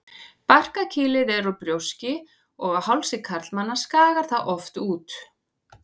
Barkakýlið er úr brjóski og á hálsi karlmanna skagar það oft út.